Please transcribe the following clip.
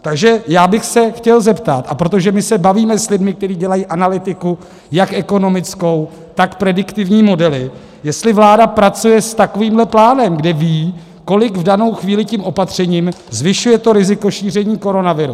Takže já bych se chtěl zeptat, a protože my se bavíme s lidmi, kteří dělají analytiku jak ekonomickou, tak prediktivní modely, jestli vláda pracuje s takovýmhle plánem, kde ví, kolik v danou chvíli tím opatřením zvyšuje to riziko šíření koronaviru.